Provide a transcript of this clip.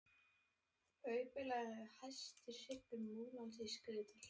Hábaula er hæsti hryggur Múlans í Skriðdal.